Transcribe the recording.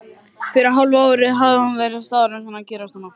Fyrir hálfu ári hafði hún verið staðráðin að gerast nunna.